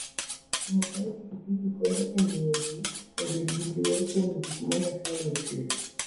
Ng'wech mar pikipiki konyo e miyo ji obed gi luor kuom gik ma Nyasaye nochweyo.